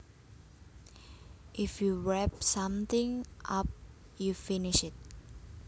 If you wrap something up you finish it